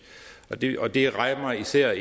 og det og det rammer især